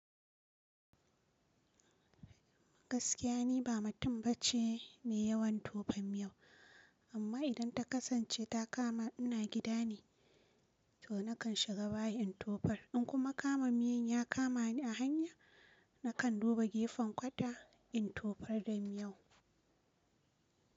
Gaskiya ni ba matum ba ce mai yawan tofa miyau amma idan ta kasance ta kama ina gida ne to nakan shiga bayi in tofar in kuma kama miyau ya kama ni a hanya nakan duba gefen kwata in tofar da miyau.